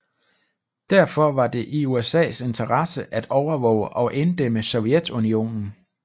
Derfor var det i USAs interesse at overvåge og inddæmme Sovjetunionen